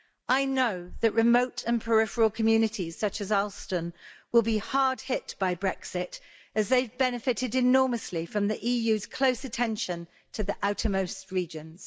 I know that remote and peripheral communities such as Alston will be hard hit by Brexit as they've benefited enormously from the EU's close attention to the outermost regions.